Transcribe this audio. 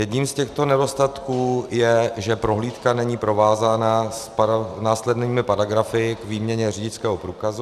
Jedním z těchto nedostatků je, že prohlídka není provázána s následnými paragrafy k výměně řidičského průkazu.